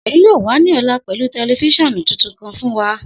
Seyi yoo wa ni ọla pẹlu tẹlifisiọnu tuntun kan fun wa.